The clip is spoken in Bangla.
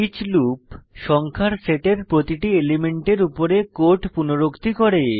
ইচ লুপ সংখ্যার সেটের প্রতিটি এলিমেন্টের উপরে কোড পুনরুক্তি করে